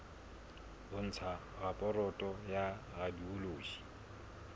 ho ntsha raporoto ya radiology